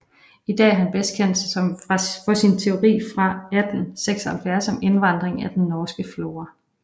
I dag er han bedst kendt for sin teori fra 1876 om indvandring af den norske flora